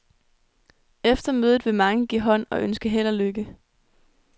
Efter mødet vil mange give hånd og ønske held og lykke.